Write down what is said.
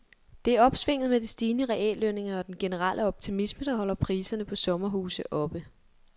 Det er opsvinget med de stigende reallønninger og den generelle optimisme, der holder priserne på sommerhuse oppe.